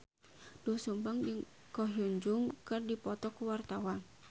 Doel Sumbang jeung Ko Hyun Jung keur dipoto ku wartawan